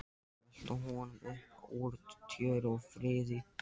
Velta honum upp úr tjöru og fiðri!